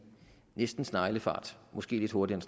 næsten sneglefart måske lidt hurtigere